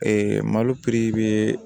malo piri bɛ